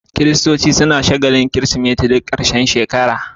Kiristoci na shagalin kirismeti duk karshen shekara